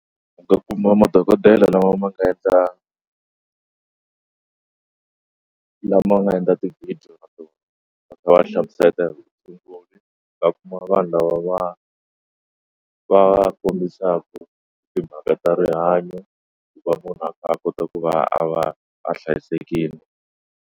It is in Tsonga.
Kuma madokodela lama ma nga endla lama nga endla ti-video ta vona va kha va hlamusela hi inkomu va kuma vanhu lava va va kombisaku timhaka ta rihanyo ku va munhu a kota ku va a va a hlayisekile.